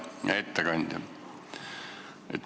Hea ettekandja!